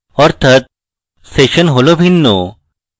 অর্থাৎ সেশন হল ভিন্ন